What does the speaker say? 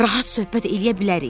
Rahat söhbət eləyə bilərik.